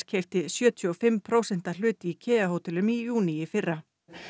keypti sjötíu og fimm prósenta hlut í Kea hótelum í júní í fyrra